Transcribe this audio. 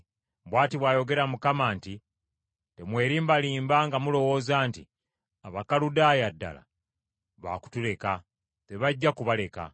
“Bw’ati bw’ayogera Mukama nti, Temwerimbarimba nga mulowooza nti, ‘Abakaludaaya ddala baakutuleka.’ Tebajja kubaleka.